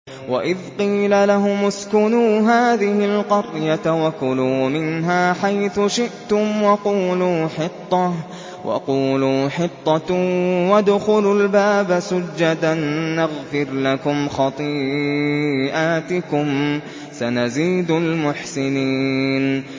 وَإِذْ قِيلَ لَهُمُ اسْكُنُوا هَٰذِهِ الْقَرْيَةَ وَكُلُوا مِنْهَا حَيْثُ شِئْتُمْ وَقُولُوا حِطَّةٌ وَادْخُلُوا الْبَابَ سُجَّدًا نَّغْفِرْ لَكُمْ خَطِيئَاتِكُمْ ۚ سَنَزِيدُ الْمُحْسِنِينَ